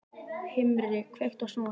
Himri, kveiktu á sjónvarpinu.